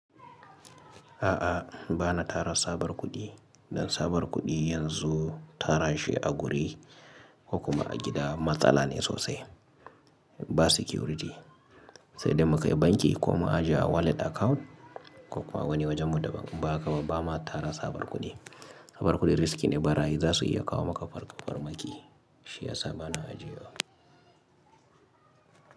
A'a bana tara sabar kuɗi, dan sabar kuɗi yanzu tarashi a guri ko kuma a gida matsala ne sosai, ba security. Sai dai mu kai banki ko mu ajiye a wallet account ko kuwa wani wajenmu daban in bahaka ba bama tara sabar kuɗi. Sabar kuɗi riski ne, barayi zasu iya kawo maka farmaki shiyasa bana ajiyewa.